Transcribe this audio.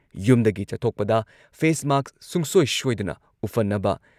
ꯌꯨꯝꯗꯒꯤ ꯆꯠꯊꯣꯛꯄꯗ ꯐꯦꯁ ꯃꯥꯛꯁ ꯁꯨꯡꯁꯣꯏ ꯁꯣꯏꯗꯅ ꯎꯞꯍꯟꯅꯕ,